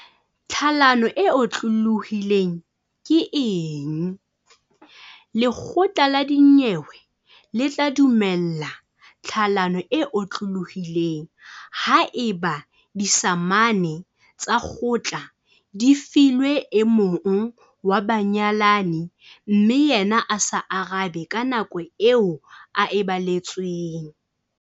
Tlhalano e otlolohileng ke eng? Lekgotla la dinyewe le tla dumella tlhalano e otlolohileng haeba disamane tsa kgotla di filwe e mong wa banyalani mme yena a sa arabe ka nako eo a e baletsweng.